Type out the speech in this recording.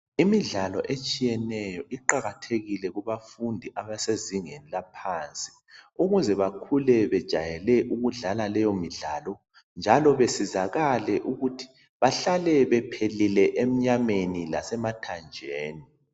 Imidlalo etshiyeneyo iqakathekile kubafundi abasezingeni laphansi ukuze bakhule bejayele ukudlala leyo midlalo njalo besizakale ukuthi bahlale bephilile enyameni lasemathanjeni